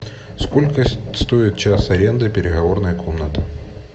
сколько стоит час аренды переговорной комнаты